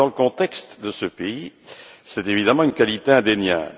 Dans le contexte de ce pays, c'est évidemment une qualité indéniable.